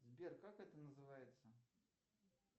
сбер как это называется